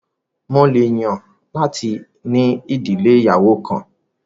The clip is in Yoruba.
Mo lè yàn láti ní ìdílé òníyàwó kan